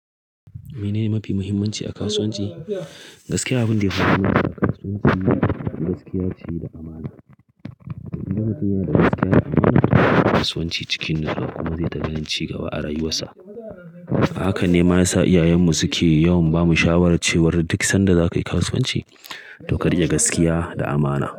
Menene mafi muhimmanci a kasuwanci? Gaskiya abin da yafi mahimmanci a kasuwanci ita ce gaskiya da amana. Idan mutun ya dau gaskiya da amana a kasuwanci cikin nutsuwa kuma zai ta ganin ci gaba a rayuwarsa. Haka ne ma ya sa iyayenmu suke yawan bamu shawarar cewa duk sanda za ka yi kasuwanci, to ka rike gaskiya da amana.